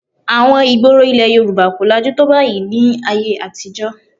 Àwọn ìgboro ilẹ̀ Yorùbá kò lajú tó báyìí ní ayé àtijọ́